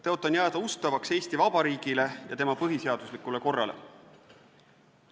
Tõotan jääda ustavaks Eesti Vabariigile ja tema põhiseaduslikule korrale.